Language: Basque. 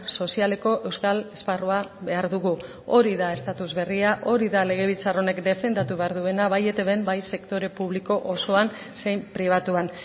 sozialeko euskal esparrua behar dugu hori da estatus berria hori da legebiltzar honek defendatu behar duena bai etbn bai sektore publiko osoan zein pribatuan